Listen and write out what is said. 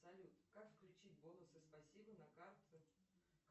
салют как включить бонусы спасибо на карте